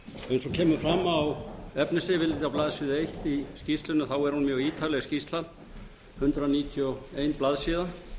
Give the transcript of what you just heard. og kemur fram á efnisyfirliti á blaðsíðu eins í skýrslunni er hún mjög ítarleg hundrað níutíu og ein blaðsíða